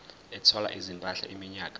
ethwala izimpahla iminyaka